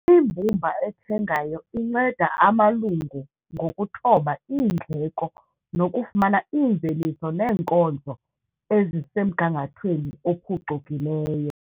Imbumba ethengayo inceda amalungu ngokuthoba iindleko nokufumana iimveliso neenkonzo ezisemgangathweni ophucukileyo.